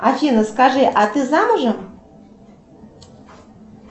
афина скажи а ты замужем